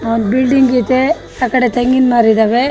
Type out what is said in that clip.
ಆ ಬಿಲ್ಡಿಂಗ್ ಇದೆ ಆ ಕಡೆ ತೆಂಗಿನ ಮರ ಇದಾವೆ --